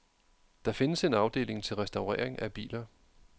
Der findes en afdeling til restaurering af biler.